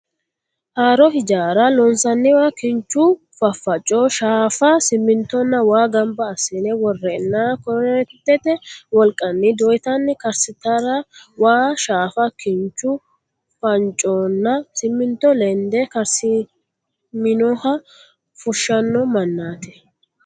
Haaro ijaara loonsanniwa kinchu faffaco, shaafa, simintonna waa ganba assine worreenna korreentete wolqanni doyitanni karsiisaatera waa, shaafa kinchu faffaconna siminto lede karsiisaminoha fushshano mannaati.